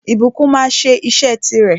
Ìbùkún máa sẹ́ isẹ́ ti rè